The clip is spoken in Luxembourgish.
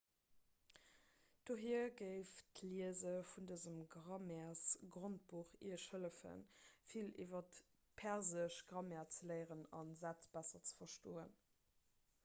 dohier géif d'liese vun dësem grammairesgrondbuch iech hëllefen vill iwwer d'persesch grammaire ze léieren a sätz besser ze verstoen